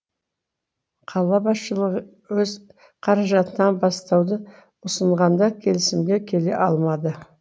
қала басшылығы өз қаражатынан бастауды ұсынғанда келісімге келе алмады